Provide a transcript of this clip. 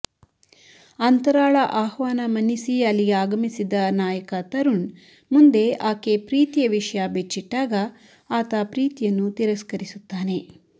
ಅಂತರಾಳ ಆಹ್ವಾನ ಮನ್ನಿಸಿ ಅಲ್ಲಿಗೆ ಆಗಮಿಸಿದ್ದ ನಾಯಕ ತರುಣ್ ಮುಂದೆ ಆಕೆ ಪ್ರೀತಿಯ ವಿಷಯ ಬಿಚ್ಚಿಟ್ಟಾಗ ಆತ ಪ್ರೀತಿಯನ್ನು ತಿರಸ್ಕರಿಸುತ್ತಾನೆ